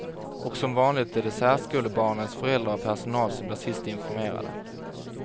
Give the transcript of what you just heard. Och som vanligt är det särskolebarnens föräldrar och personal som blir sist informerade.